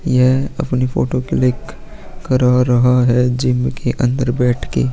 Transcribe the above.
ये अपनी photo click करावा रहा है जिम के अंदर बैठ के--